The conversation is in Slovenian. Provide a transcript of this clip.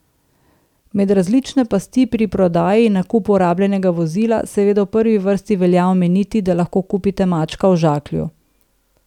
Med različne pasti pri prodaji in nakupu rabljenega vozila seveda v prvi vrsti velja omeniti, da lahko kupite mačka v žaklju.